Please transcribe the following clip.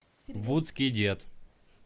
вудский дед